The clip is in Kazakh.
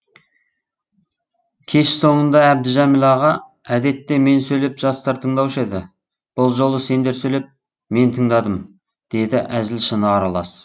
кеш соңында әбдіжәміл аға әдетте мен сөйлеп жастар тыңдаушы еді бұл жолы сендер сөйлеп мен тыңдадым деді әзіл шыны аралас